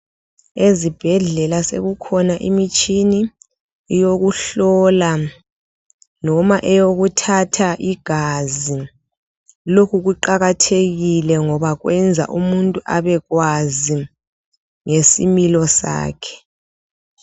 ezibhedlela sekukhona imitshini yokuhlola noma eyokuthatha igazi lokhu kuqakathekile ngoba kwenza umuntu abekwazi ngesimilo sakhe